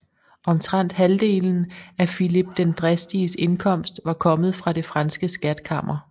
Omtrent halvdelen af Filip den Dristiges indkomst var kommet fra det franske skatkammer